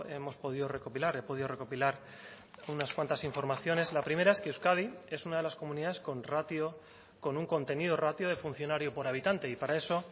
hemos podido recopilar he podido recopilar unas cuantas informaciones la primera es que euskadi es una de las comunidades con ratio con un contenido ratio de funcionario por habitante y para eso